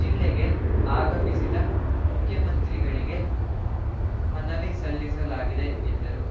ಜಿಲ್ಲೆಗೆ ಆಗಮಿಸಿದ್ದ ಮುಖ್ಯಮಂತ್ರಿಗಳಿಗೆ ಮನವಿ ಸಲ್ಲಿಸಲಾಗಿದೆ ಎಂದರು